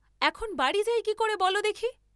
এথন বাড়ী যাই কি করে বল দেখি?